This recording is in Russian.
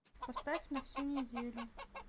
поставь на всю неделю